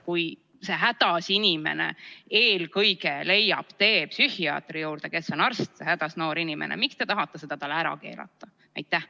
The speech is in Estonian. Kui hädas inimene leiab tee eelkõige psühhiaatri juurde, kes on arst, siis miks te tahate seda ära keelata?